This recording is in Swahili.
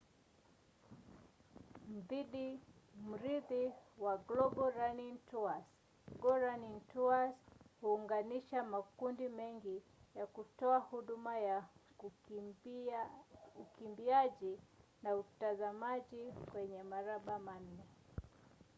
mrithi wa global running tours go running tours huunganisha makundi mengi ya kutoa huduma ya ukimbiaji na utazamaji kwenye mabara manne